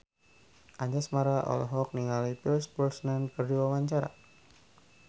Anjasmara olohok ningali Pierce Brosnan keur diwawancara